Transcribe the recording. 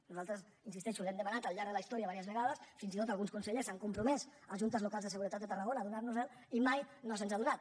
nosaltres hi insisteixo l’hem demanat al llarg de la historia diverses vegades fins i tot alguns consellers s’han compromès en juntes locals de seguretat de tarragona a donar nos el i mai no se’ns ha donat